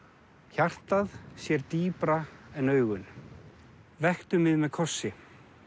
hjartað sér dýpra en augun vektu mig með kossi